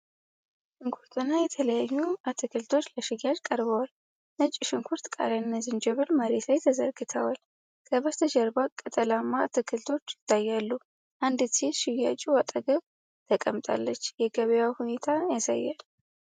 ሽንኩርትና የተለያዩ አትክልቶች ለሽያጭ ቀርበዋል። ነጭ ሽንኩርት፣ ቃሪያና ዝንጅብል መሬት ላይ ተዘርግተዋል። ከበስተጀርባ ቅጠላማ አትክልቶች ይታያሉ። አንዲት ሴት ሽያጩ አጠገብ ተቀምጣለች። የገበያ ሁኔታን ያሳያል።